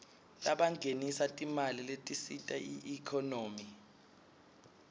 labangenisa timali letisita iekhonomy